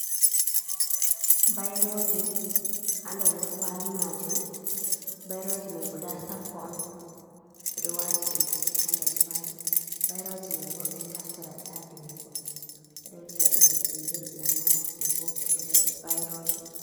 Bairoji ha nder kwali majum. bairoji mai guda sappo on ɓeɗo wati ɗum ha nder kwali. bairoji mai bo ɓeɗo naftara ɗum ha vindugo. ɓeɗo viya ɗi bindirɗi amma je boko ɗo ɓeɗo viya bairoje.